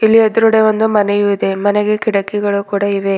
ಇಲ್ಲಿ ಎದ್ರುಗಡೆ ಒಂದು ಮನೆಯು ಇದೆ ಮನೆಗೆ ಕಿಟಕಿಗಳು ಕೂಡ ಇವೆ.